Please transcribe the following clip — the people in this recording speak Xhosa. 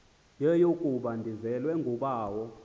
yeyokuba ndizelwe ngubawo